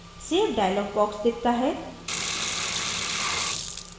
save dialog box दिखता है